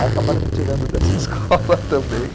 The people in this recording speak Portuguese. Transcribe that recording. Aí acabaram me tirando dessa escola também